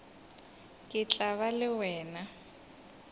ke tla ba le wena